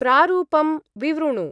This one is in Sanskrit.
प्रारूपं विवृणु।